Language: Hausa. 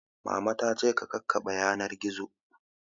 Mama ta ce ka kakkaɓe yanar gizo